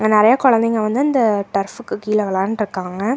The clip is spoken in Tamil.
அங்க நெறையா கொழந்தைங்க வந்து அந்த டர்ஃப்புக்கு கீழ வெளான்ட்ருக்காங்க.